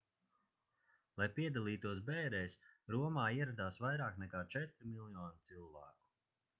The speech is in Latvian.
lai piedalītos bērēs romā ieradās vairāk nekā četri miljoni cilvēku